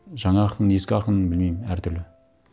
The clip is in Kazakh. жаңа ақын ескі ақын білмеймін әртүрлі